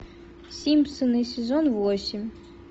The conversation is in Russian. симпсоны сезон восемь